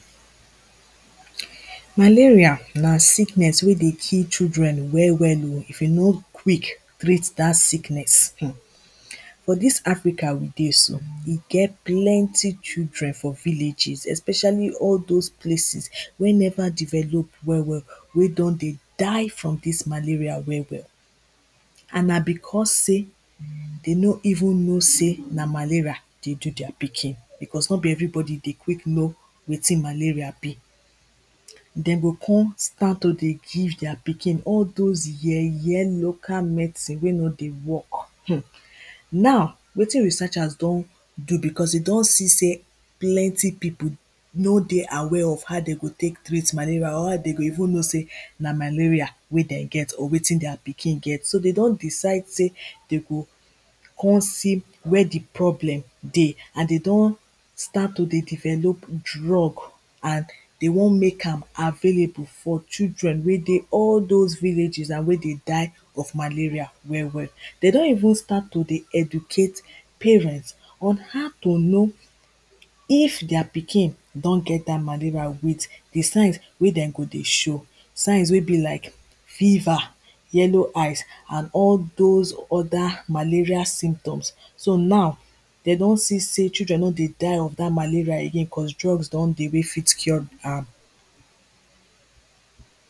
Malaria na sickness wey dey kill children well well oh if you no quick treat dat sickness. For dis Africa we dey so, we get plenty children for villages especially all those places wey never develop well well wey don dey die for dis malaria well well and na becos sey dem no even know sey na malaria dey do their pikin, becos no be everybody dey quick know wetin malaria be Dem go con start to dey give their pikin all those yeye local medicine wey no dey work mmm Now wetin researchers don do becos we don see sey plenty pipo no dey aware of how dem go take treat malaria or how dem go even know sey na malaria wey dem get or wetin their pikin get, so dem don decide sey dem go come see where di problem dey and dem don start to dey develop drug and dem wan make available for children wey dey all those villages and wey dey die of malaria well well. Dem don even start to dey educate parents on how to know if their pikin don get dat malaria with di signs wey dem go dey show signs wey be like fever, yellow eyes and all those other malaria symptoms So now dem don see children no dey die of dat malaria again cos drug don dey wey fit cure am